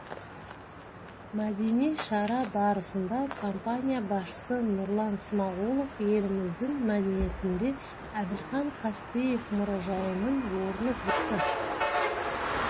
мәдени шара барысында компания басшысы нұрлан смағұлов еліміздің мәдениетінде әбілхан қастеев мұражайының орны бөлек екенін айтты